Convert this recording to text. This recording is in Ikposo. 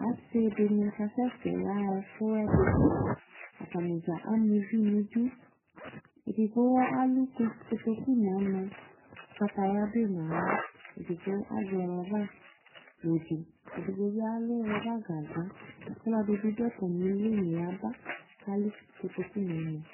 Ase de kasɛsɛ yaha efuɛde Atane dza ama uvii no idu, Edigbo aku koss kotoku no ɔno, kataya do ye no ala, edigbo azɛ rɔba akɛo de, edigbo be alu rɔba gagba ko ɔlɔde be do atame lunu yaba ko alu kotoku no ɔnu